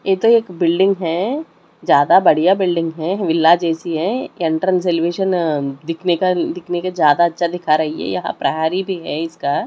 ये तो एक बिल्डिंग है ज्यादा बढ़िया बिल्डिंग है विला जैसी है एंट्रेंस एलिवेशन दिखने का दिखने के ज्यादा अच्छा दिखा रही है यहां प्रहारी भी है इसका--